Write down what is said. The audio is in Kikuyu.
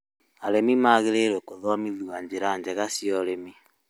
Arĩmĩ maagĩrĩirũo gũthomithio njĩra njega cia ũrĩmi